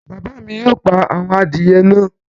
Bàbá mi yóò pa àwọn adìyẹ náà